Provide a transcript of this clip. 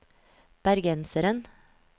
bergenseren